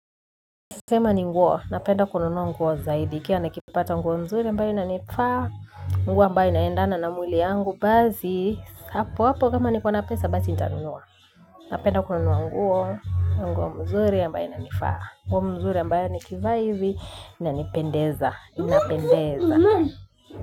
Nasema ni nguo, napenda kununua nguo zaidi ikiwa nikipata nguo nzuri ambayo inanifaa, nguo ambayo inaendana na mwili yangu basi, hapo hapo kama nikona pesa basi nitanunua. Napenda kununua nguo, nguo nzuri ambayo inanifaa, nguo nzuri ambayo nikivaa ivi, inanipendeza, inapendeza.